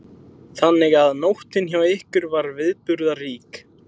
Þannig að nóttin hjá ykkur var viðburðarík?